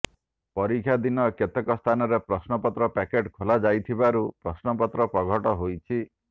ପରୀକ୍ଷା ଦିନ କେତେକ ସ୍ଥାନରେ ପ୍ରଶ୍ନପତ୍ର ପ୍ୟାକେଟ୍ ଖୋଲା ହୋଇଯାଇଥିବାରୁ ପ୍ରଶ୍ନପତ୍ର ପ୍ରଘଟ ହୋଇଛି